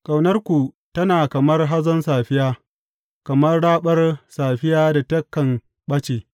Ƙaunarku tana kamar hazon safiya, kamar raɓar safiya da takan ɓace.